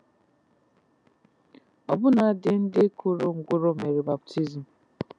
Ọbụnadị ndị kụrụ ngwụrọ mere baptizim.